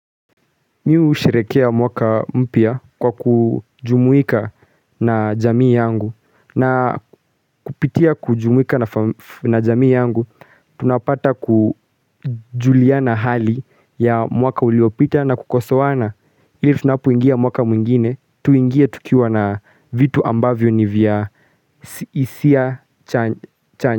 Miu sherekea mwaka mpya kwa kujumuika na jamii yangu na kupitia kujumuika na jamii yangu tunapata kujuliana hali ya mwaka uliopita na kukosoana ili tunapoingia mwaka mwingine tuingie tukiwa na vitu ambavyo ni vya isia chanye.